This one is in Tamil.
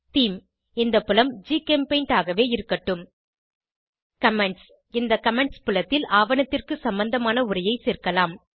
தேமே இந்த புலம் ஜிசெம்பெயிண்ட் ஆகவே இருக்கட்டும் கமெண்ட்ஸ் இந்த கமெண்ட்ஸ் புலத்தில் ஆவணத்திற்கு சம்பந்தமான உரையை சேர்க்கலாம்